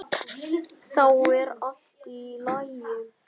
Þá er allt í lagi.